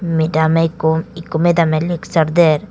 medam ikko ikko metamey leksar der.